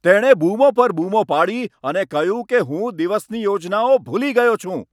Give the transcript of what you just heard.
તેણે બૂમો પર બૂમો પાડી અને કહ્યું કે હું દિવસની યોજનાઓ ભૂલી ગયો છું.